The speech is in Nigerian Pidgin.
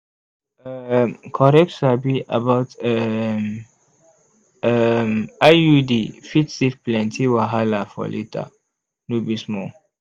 um correct sabi about um um iud fit save plenty wahala for later no be small